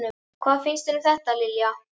Hvað finnst þér um þetta, Lilja?